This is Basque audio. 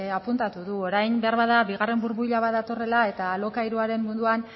apuntatu du orain beharbada bigarren burbuila bat datorrela eta alokairuaren munduan